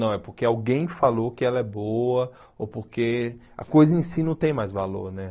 Não, é porque alguém falou que ela é boa ou porque a coisa em si não tem mais valor né.